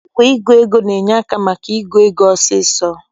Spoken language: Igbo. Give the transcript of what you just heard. Igwe ịgụ ego na-enye aka maka ịgụ ego ọsọọsọ